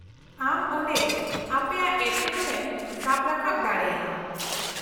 ᱟᱢ ᱚᱸᱰᱮ ᱟᱯᱮᱭᱟᱜ ᱮᱴᱠᱮᱴᱚᱬᱮᱢ ᱥᱟᱵ ᱨᱟᱠᱟᱵ ᱫᱟᱲᱮᱭᱟᱜᱼᱟ ᱾